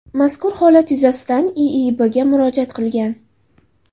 mazkur holat yuzasidan IIBga murojaat qilgan.